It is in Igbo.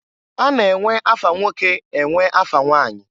A na-enwe afa nwoke enwe afa nwanyi.